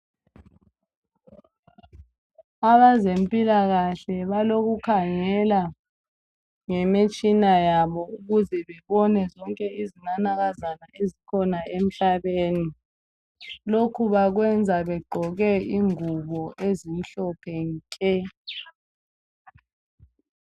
Abazemphikahle balokukhangela ngemitshina yabo ukuze bebone izinanakazana ezikhona emhlabeni. Lokhu bakwenza begqoke ingubo ezimhophe nke.